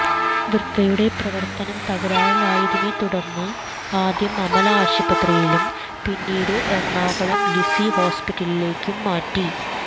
വൃക്കയുടെ പ്രവർത്തനം തകരാറിലായതിനെ തുടർന്ന് ആദ്യം അമല ആശുപത്രിയിലും പിന്നിട്ട് എറണാകുളം ലിസി ഹോസ്പിറ്റലിലേക്ക് മാറ്റി